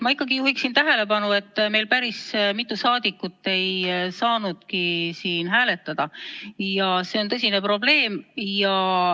Ma ikkagi juhin tähelepanu, et meil päris mitu saadikut ei saanud hääletada ja see on tõsine probleem.